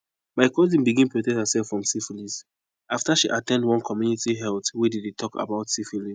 my cousin bigns protect herself from syphilis after she at ten d one community health wey they dey talk about syphilis